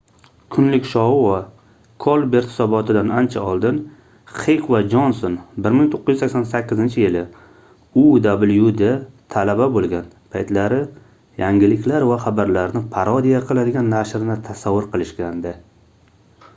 "kunlik shou va kolbert hisoboti"dan ancha oldin xek va jonson 1988-yili uwda talaba bo'lgan paytlari yangiliklar va xabarlarni parodiya qiladigan nashrni tasavvur qilishgandi